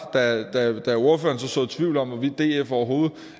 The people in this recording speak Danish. da ordføreren såede tvivl om hvorvidt df overhovedet